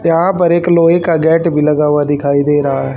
यहाॅं पर एक लोहे का गेट भी लगा हुआ दिखाई दे रहा हैं।